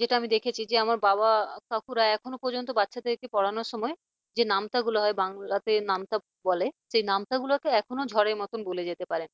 যেটা আমি দেখেছি যেমন আমার বাবা কাকুরা এখনো পর্যন্ত বাচ্চাদেরকে পড়ানোর সময় যে নামতা গুলো হয় বাংলাতে নামতা বলে সেই নামতা গুলো এখনো ঝড়ের মতো বলে যেতে পারে।